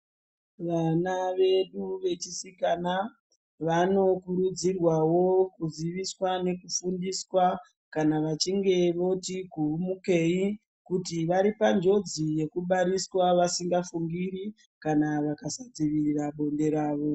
Vana vedu vechisikana vanokurudzirwawo kuziviswa nekufundiswa kana vachinge voti kuhumukei kuti vari panjodzi yekubariswa vasingafungiri kana vakasadzivirira bonde ravo.